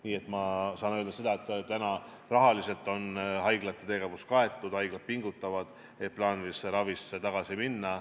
Nii et ma saan öelda, et rahaliselt on haiglate tegevus kaetud, haiglad pingutavad, et plaanilise ravi juurde tagasi minna.